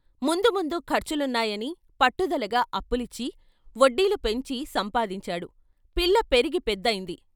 ముందు ముందు ఖర్చులున్నాయని పట్టుదలగా అప్పులిచ్చి, వడ్డీలు పెంచి సంపాదించాడు పిల్ల పెరిగి పెదైంది.